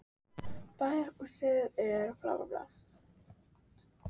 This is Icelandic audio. Bæjarhúsin sáust greinilega bera í bjarmann.